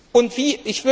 Und wie